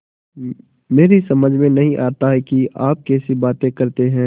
मेरी समझ में नहीं आता कि आप कैसी बातें करते हैं